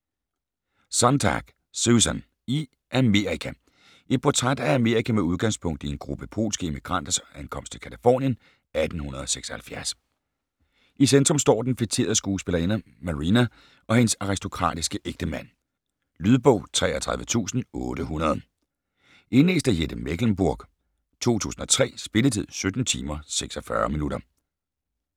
Sontag, Susan: I Amerika Et portræt af Amerika med udgangspunkt i en gruppe polske immigranters ankomst til Californien 1876. I centrum står den feterede skuespillerinde Maryna og hendes aristokratiske ægtemand. Lydbog 33800 Indlæst af Jette Mechlenburg, 2003. Spilletid: 17 timer, 46 minutter.